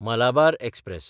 Malabar express